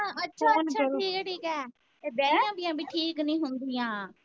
ਅੱਛਾ ਅੱਛਾ ਠੀਕ ਏ ਠੀਕ ਏ ਇਹ ਬਿਆਹੀਆ ਬਰੀਆ ਵੀ ਠੀਕ ਨਹੀਂ ਹੁੰਦੀਆਂ।